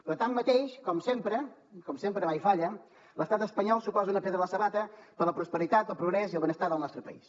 però tanmateix com sempre com sempre mai falla l’estat espanyol suposa una pedra a la sabata per la prosperitat el progrés i el benestar del nostre país